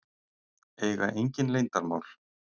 Eiga engin leyndarmál.